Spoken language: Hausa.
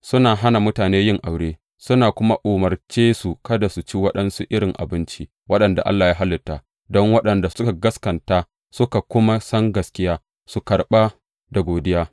Suna hana mutane yin aure suna kuma umarce su kada su ci waɗansu irin abinci, waɗanda Allah ya halitta don waɗanda suka gaskata suka kuma san gaskiya, su karɓa da godiya.